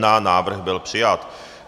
Návrh byl přijat.